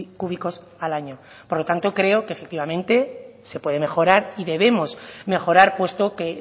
cúbicos al año por lo tanto creo que efectivamente se puede mejorar y debemos mejorar puesto que